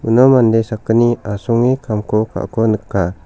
uno mande sakgni asonge kamko ka·ako nika.